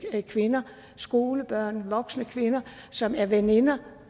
kvinder skolebørn voksne kvinder som er veninder